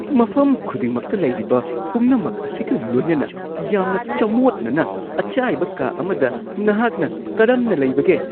ꯃꯐꯝ ꯈꯨꯗꯤꯡꯃꯛꯇ ꯂꯩꯔꯤꯕ ꯄꯨꯝꯅꯃꯛ ꯑꯁꯤꯒ ꯂꯣꯏꯅꯅ ꯌꯥꯝꯅ ꯆꯃꯣꯠꯅꯅ ꯑꯆꯥꯏꯕ ꯀꯥ ꯑꯃꯗ ꯅꯍꯥꯛꯅ ꯀꯔꯝꯅ ꯂꯩꯕꯒꯦ? (ꯃꯃꯥ)